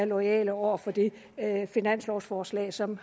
loyale over for det finanslovforslag som